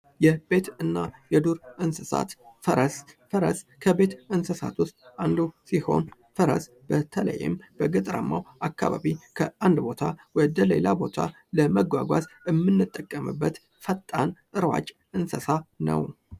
የቤትና የዱር እንስሳት ፦ ፈረስ ፦ ፈረስ ከቤት እንስሳት ውስጥ አንዱ ሲሆን ፈረስ በተለይም በገጠራማው አካባቢ ከአንድ ቦታ ወደ ሌላ ቦታ ለመጓጓዝ የምንጠቀምበት ፈጣን ፣ እሯጭ እንስሳ ነው ።